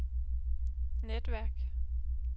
netværk